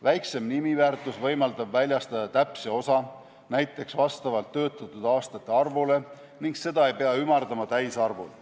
Väiksem nimiväärtus võimaldab väljastada täpse osa, näiteks vastavalt töötatud aastate arvule, ning seda ei pea ümardama täisarvuni.